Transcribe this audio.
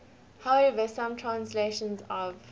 however some translations of